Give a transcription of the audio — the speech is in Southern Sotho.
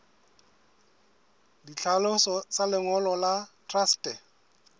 ditlhaloso tsa lengolo la truste